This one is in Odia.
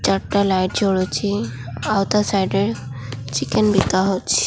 ଚାରିଟା ଲାଇଟ୍ ଜଳୁଛି ଆଉ ତା ସାଇଡ୍ ରେ ଚିକେନ ବିକା ହେଉଛି।